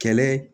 Kɛlɛ